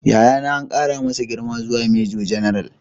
Yayana an kara masa girma zuwa Major General